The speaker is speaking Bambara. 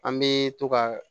An bɛ to ka